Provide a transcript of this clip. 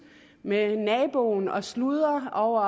med naboen og sludre over